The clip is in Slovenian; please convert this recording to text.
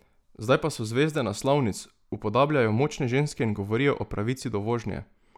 Zdaj pa so zvezde naslovnic, upodabljajo močne ženske in govorijo o pravici do vožnje!